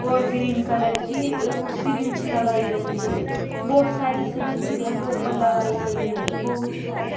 और green colour की वो सिरिंच लगाई गई है बहुत सारी सिरिंच घर के ऊपर लगाई गई है बहुत सारी।